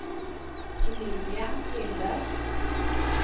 Emilia Linder